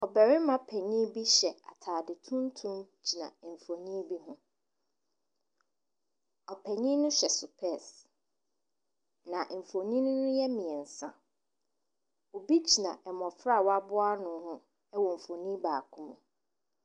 Ɔbarima panin bi hyɛ atade tuntum gyina mfonin bi ho. Ɔpanin no hyɛ sopɛɛse, na mfonin no yɛ mmeɛnsa. Obi gyina mmɔfra a wɔaboa ano ho wɔ mfonin baako mu.